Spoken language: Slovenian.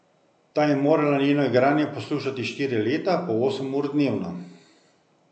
Ta je morala njeno igranje poslušati štiri leta po osem ur dnevno.